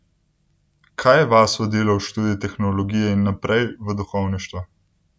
Kaj je vas vodilo v študij teologije in naprej, v duhovništvo?